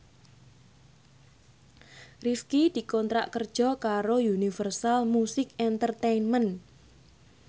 Rifqi dikontrak kerja karo Universal Music Entertainment